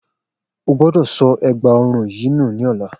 O gbọ́dọ̀ sọ ègbà ọrùn yìí nù ní ọ̀la